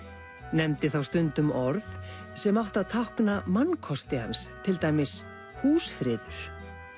nefndi þá stundum orð sem áttu að tákna mannkosti hans til dæmis húsfriður